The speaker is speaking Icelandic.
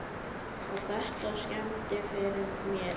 Og þetta skemmdi fyrir mér.